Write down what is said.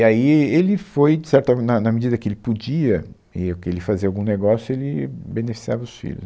E aí ele foi, de certa, na na medida que ele podia, e o que ele fazia algum negócio, ele beneficiava os filhos.